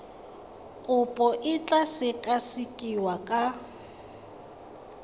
kopo e tla sekasekiwa ka